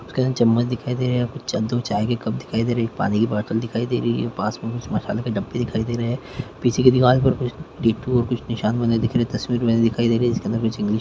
--कुछ कहे चम्मच दिखाई दे रहे हैं कुछ च दो चाय के कप दिखाई दे रहे हैं एक पानी की बॉटल दिखाई दे रही है पास में कुछ मसाले के डब्बे दिखाई दे रहे हैं पीछे की दीवाल पे कुछ टैटू और कुछ निशान बने दिख रहे हैं तस्वीर बनी दिख रही है जिसमे कुछ सीनरी है।